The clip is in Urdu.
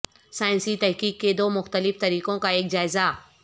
سائنسی تحقیق کے دو مختلف طریقوں کا ایک جائزہ